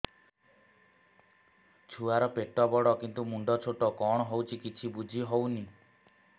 ଛୁଆର ପେଟବଡ଼ କିନ୍ତୁ ମୁଣ୍ଡ ଛୋଟ କଣ ହଉଚି କିଛି ଵୁଝିହୋଉନି